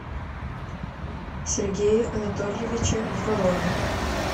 сергее анатольевиче фролове